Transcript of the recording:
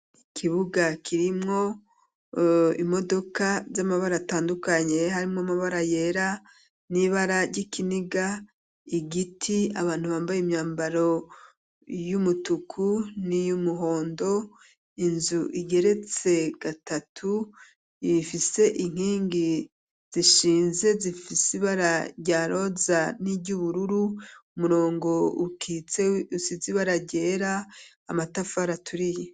ikibuga kirimwo imodoka z,amabara atandukanye harimo amabara yera n'ibara ry'ikiniga igiti abantu bambaye imyambaro y'umutuku n'iyumuhondo inzu igeretse gatatu ifise inkingi zishinze zifisibara rya roza n'iry'ubururu umurongo ukitse usize ibara ryera amatafari aturiye.